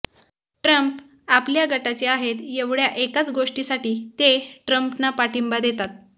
Trump आपल्या गटाचे आहेत येवढ्या एकाच गोष्टीसाठी ते ट्रंपना पाठिंबा देतात